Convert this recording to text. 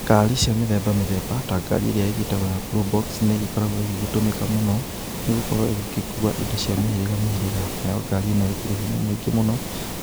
Ngari cia mithemba mithemba, na ngari iria igĩtagwo ya probox nĩ igĩkoragwo igĩtũmĩka mũno, nĩgũkorwo igĩkuua indo cia mĩhĩrĩga mĩhĩrĩga, nayo ngari ĩno ĩkĩrĩ hinya mũingĩ mũno,